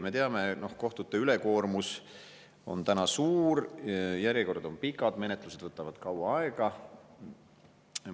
Me teame, et kohtute ülekoormus on suur, järjekorrad on pikad, menetlused võtavad kaua aega.